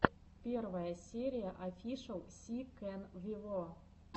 первая серия офишел си кэн вево